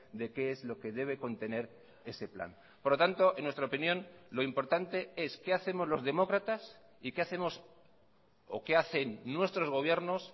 de qué es lo que debe contener ese plan por lo tanto en nuestra opinión lo importante es qué hacemos los demócratas y qué hacemos o qué hacen nuestros gobiernos